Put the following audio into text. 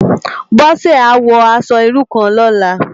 Bose á wò aṣò irú kán lòlá